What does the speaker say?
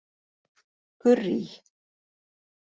Gurrý